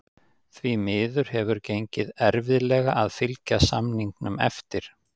Því miður hefur gengið erfiðlega að fylgja samningum eftir.